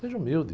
Seja humilde.